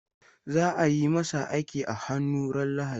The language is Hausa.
Za ayi masa aiki a hannu ran lahadi